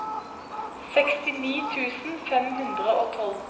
sekstini tusen fem hundre og tolv